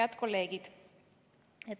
Head kolleegid!